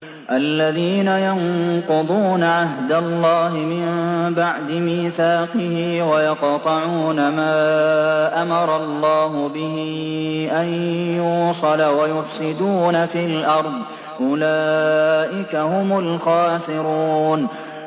الَّذِينَ يَنقُضُونَ عَهْدَ اللَّهِ مِن بَعْدِ مِيثَاقِهِ وَيَقْطَعُونَ مَا أَمَرَ اللَّهُ بِهِ أَن يُوصَلَ وَيُفْسِدُونَ فِي الْأَرْضِ ۚ أُولَٰئِكَ هُمُ الْخَاسِرُونَ